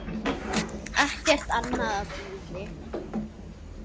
Ekkert annað bíði.